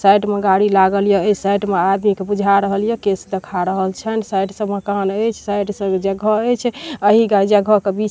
Side में गाड़ी लागल याऐ साइड में अदामी के बुझाय रहल या केश देखा रहल छैन ई साइड से मकान ऐछ। ऐ साइड से ऐछ अहि जगह के बीच--